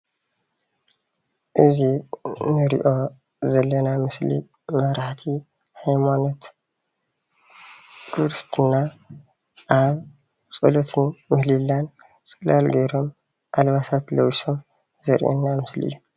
እዚ እንሪኦ ዘለና ምስሊ መራሕቲ ሃይማኖት ክርስትና ኣብ ፀሎትን ምህሌላን ፅላል ጌሮም ኣልባሳት ለቢሶም ዘርእየና ምስሊ እዩ።